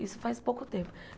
Isso faz pouco tempo.